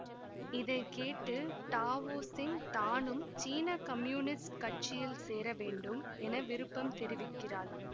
இதை கேட்டு டாவொசிங் தானும் சீன கம்யூனிஸ்ட் கட்சியில் சேர வேண்டும் என விருப்பம் தெரிவிக்கிறாள்